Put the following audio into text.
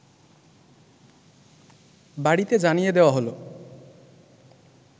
বাড়িতে জানিয়ে দেওয়া হল